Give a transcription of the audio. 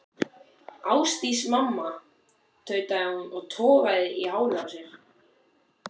Ásdís mamma, tautaði hún og togaði í hárið á sér.